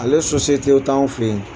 Ale t'anw fɛ yen